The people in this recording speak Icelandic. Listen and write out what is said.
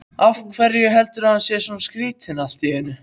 Af hverju var hann svona skrýtinn allt í einu?